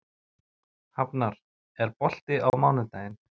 Hafnar, er bolti á mánudaginn?